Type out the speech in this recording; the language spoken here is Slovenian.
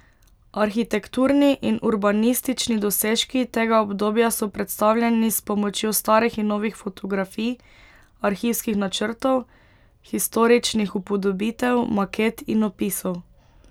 Arhitekturni in urbanistični dosežki tega obdobja so predstavljeni s pomočjo starih in novih fotografij, arhivskih načrtov, historičnih upodobitev, maket in opisov.